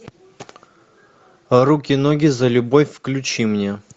руки ноги за любовь включи мне